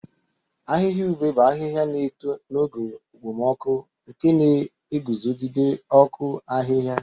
Ahịhịa ube bụ ahịhịa na-eto n'oge okpomọkụ, nke na-eguzogide ọkụ ahịhịa.